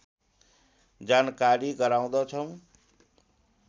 जानकारी गराउँदछौँ